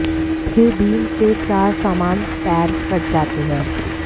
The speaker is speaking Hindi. फिर बीम से चार समान पैर कट जाते हैं